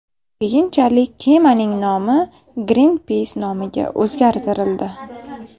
Keyinchalik kemaning nomi Greenpeace nomiga o‘zgartirildi.